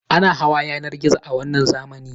Ana hawa yanar gizo a wannan zamani.